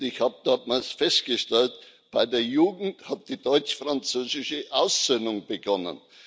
Und ich habe damals festgestellt Bei der Jugend hat die deutsch französische Aussöhnung begonnen.